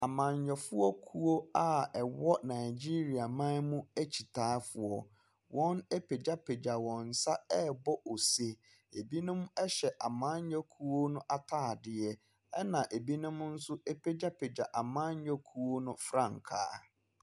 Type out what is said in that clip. Amanyoɔfoɔkuo a ɛwɔ nagyeria man mu ekyitaafoɔ wɔn apegyapegya wɔn sa ɛbɔ ose. Ebinom ɛhyɛ amanyoɔkuo no ataadeɛ ɛna ebinom so apegyapegya amanyoɔkuo no frankaa.